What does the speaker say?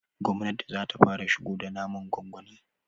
gwamnati zata fara shigo da naman gwangwani